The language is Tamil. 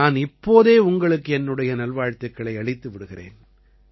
நான் இப்போதே உங்களுக்கு என்னுடைய நல்வாழ்த்துக்களை அளித்து விடுகிறேன்